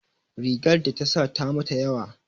Rigar da ta sa ta mata yawa